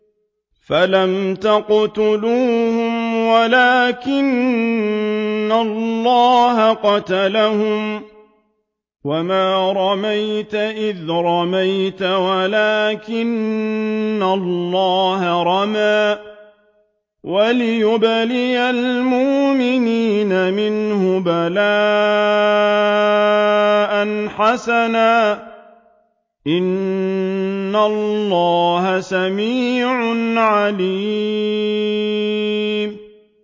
فَلَمْ تَقْتُلُوهُمْ وَلَٰكِنَّ اللَّهَ قَتَلَهُمْ ۚ وَمَا رَمَيْتَ إِذْ رَمَيْتَ وَلَٰكِنَّ اللَّهَ رَمَىٰ ۚ وَلِيُبْلِيَ الْمُؤْمِنِينَ مِنْهُ بَلَاءً حَسَنًا ۚ إِنَّ اللَّهَ سَمِيعٌ عَلِيمٌ